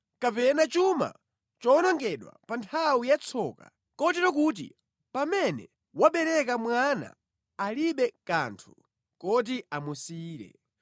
kapena chuma chowonongedwa pa nthawi yatsoka, kotero kuti pamene wabereka mwana alibe kanthu koti amusiyire.